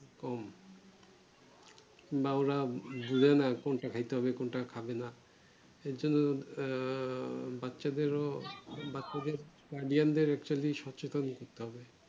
উমঃ কোনটা খেতে হবে কোনটা খাবে না আর জন্য আঃ বাচ্চা দেড় বাচ্চা দের problem বের হচ্ছে সচেতন করতে